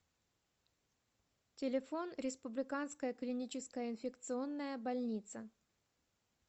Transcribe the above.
телефон республиканская клиническая инфекционная больница